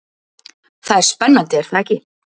Það er spennandi er það ekki?